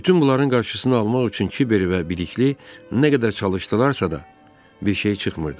Bütün bunların qarşısını almaq üçün Kiber və Bilikli nə qədər çalışdılarsa da, bir şey çıxmırdı.